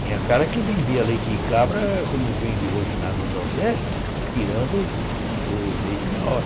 Tinha cara que vendia leite de cabra, como vende hoje lá no Nordeste, tirando o leite na hora.